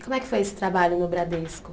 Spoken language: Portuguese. E como é que foi esse trabalho no Bradesco?